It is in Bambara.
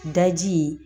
Daji